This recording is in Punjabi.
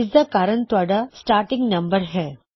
ਇਸਦਾ ਕਾਰਨ ਤੁਹਾਡਾ ਸਟਾਟਿੰਗ ਨੰਬਰ ਹੈ